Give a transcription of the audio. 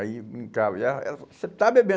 Aí brincava, aí ela ela você está